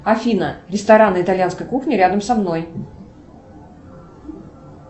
афина рестораны итальянской кухни рядом со мной